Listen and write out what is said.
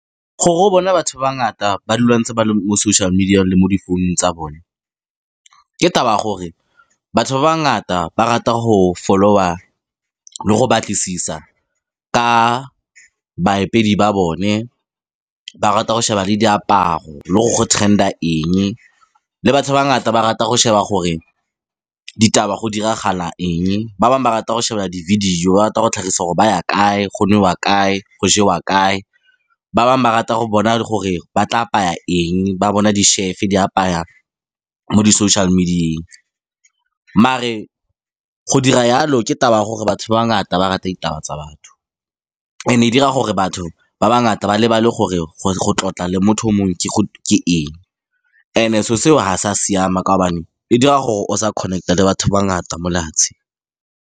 Gore o bona batho ba bangata ba dula ba ntse ba le mo social media le mo difounung tsa bone ke taba gore batho ba ba bangata ba rata go follow-a le go batlisisa ka ba bone, ba rata go sheba le diaparo, le gore go trender eng, le batho ba bangata ba rata go sheba gore ditaba go diragala eng, ba bangwe ba rata go sheba di-video ba rata go tlhagisa gore ba ya kae, go nowa kae, go jewa kae, ba bangwe ba rata go bona gore ba tla apaya eng, ba bona di-chef di apaya mo di social media-eng. Mare go dira yalo ke taba ya gore batho ba bangata ba rata ditaba tsa batho, and e dira gore batho ba ba bangata ba lebale gore go tlotla le motho o mongwe ke eng, and e so seo ha sa siama kaobane e dira gore o sa connect-a le batho ba bangata mo lefatsheng.